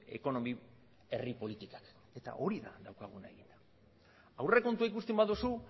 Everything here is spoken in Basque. ekonomi herri politikak eta hori da daukaguna eginda aurrekontua ikusten baduzu